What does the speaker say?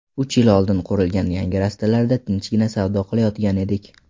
Uch yil oldin qurilgan yangi rastalarda tinchgina savdo qilayotgandik.